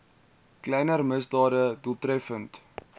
kleiner misdade doeltreffend